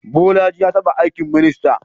Bolaji ya taba aikin minista.